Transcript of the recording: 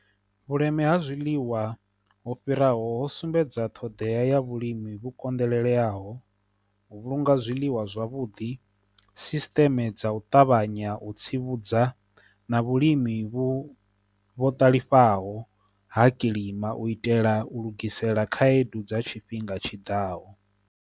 Vhuleme ha zwiḽiwa ho fhiraho ho sumbedza ṱhoḓea ya vhulimi vhu konḓeleleaho, u vhulunga zwiḽiwa zwavhudi, sisṱeme dza u ṱavha ṱavhanya u tsivhudza na vhulimi vhu vho ṱalifhaho ha kilima u itela u lugisela khaedu dza tshifhinga tshiḓaho.